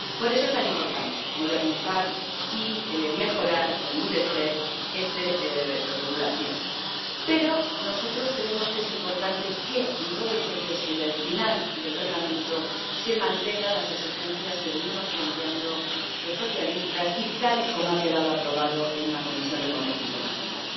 Por eso es tan importante modernizar, mejorar y endurecer esta regulación. Pero nosotros creemos que es importante que, en todo el proceso y al final del Reglamento, se mantengan las exigencias que venimos planteando los socialistas y el texto tal y como ha quedado aprobado en la Comisión de Comercio Internacional.